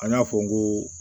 An y'a fɔ n ko